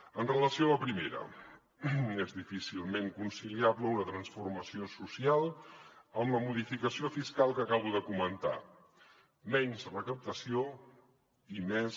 amb relació a la primera és difícilment conciliable una transformació social amb la modificació fiscal que acabo de comentar menys recaptació i més